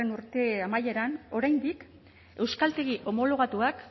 urte amaieran oraindik euskaltegi homologatuak